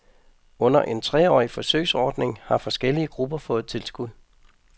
Under en treårig forsøgsordning har forskellige grupper fået tilskud.